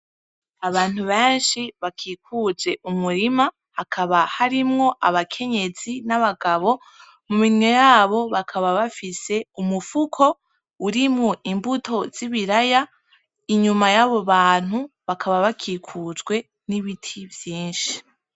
Abantu benshi bakikuje umurima hakaba harimwo abakenyezi n'abagabo, mu minwe yabo bakaba bafise umufuko urimwo imbuto zibiraya, inyuma yabo bantu bakaba bakikujwe n'ibiti vyinshi.